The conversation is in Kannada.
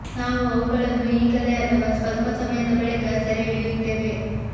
ನಾವು ಅವುಗಳನ್ನು ಈಗಲೇ ಅಥವಾ ಸ್ವಲ್ಪ ಸಮಯದ ಬಳಿಕ ಸೆರೆ ಹಿಡಿಯುತ್ತೇವೆ